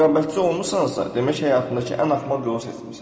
Rəqabətçi olmusansa, demək həyatındakı ən axmaq yolu seçmisən.